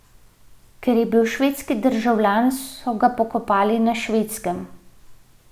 Ker je bil švedski državljan, so ga pokopali na Švedskem.